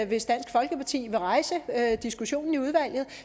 hvis dansk folkeparti vil rejse diskussionen i udvalget